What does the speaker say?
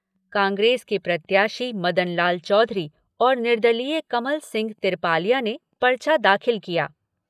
कांग्रेस के प्रत्याशी मदनलाल चौधरी और निर्दलीय कमल सिंह तिरपालिया ने पर्चा दाखिल किया।